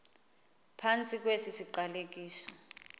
phantsi kwesi siqalekiso